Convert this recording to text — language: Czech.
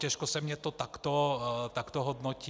Těžko se mi to takto hodnotí.